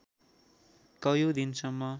कैयौँ दिनसम्म